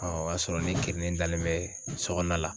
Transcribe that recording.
o y'a sɔrɔ ne kirinen dalen bɛ so kɔɔna la.